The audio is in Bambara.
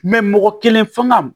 mɔgɔ kelen fanga